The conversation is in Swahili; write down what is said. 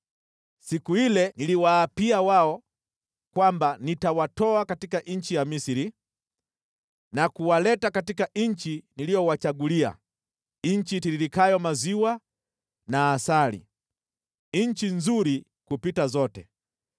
Siku ile niliwaapia wao kwamba nitawatoa katika nchi ya Misri na kuwaleta katika nchi niliyowachagulia, nchi itiririkayo maziwa na asali, nchi nzuri kupita zote.